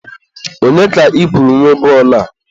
Onye ka ị kwuru nwe bọọlụ a?